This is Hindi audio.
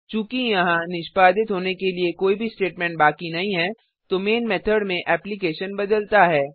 चूँकि यहाँ निष्पादित होने के लिए कोई भी स्टेटमेंट बाकी नहीं है तो मैन मेथड में एप्लिकेशन बदलता है